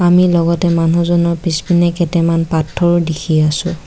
আমি লগতে মানুহজনৰ পিছপিনে কেটেমান পাথৰো দেখি আছোঁ।